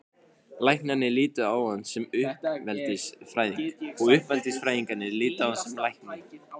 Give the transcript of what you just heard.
Læknarnir litu á hann sem uppeldisfræðing og uppeldisfræðingarnir litu á hann sem lækni.